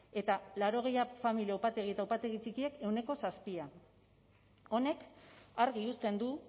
eta laurogei familia upategi eta upategi txikiek ehuneko zazpi honek argi uzten du